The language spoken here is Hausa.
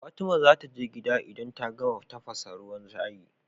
Fatima zataje gida idan ta gama tafasa ruwan shayi